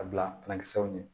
A bila kisɛw ɲɛ